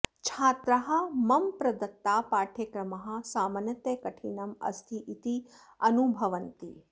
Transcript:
छात्राः मम प्रदत्ताः पाठ्यक्रमाः सामान्यतः कठिनं अस्ति इति अनुभवन्ति